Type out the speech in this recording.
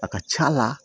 A ka c'a la